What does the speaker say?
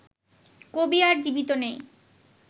কবি আর জীবিত নেই